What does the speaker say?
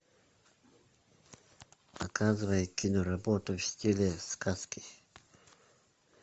показывай киноработу в стиле сказки